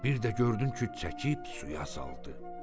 Bir də gördün ki, çəkib suya saldı.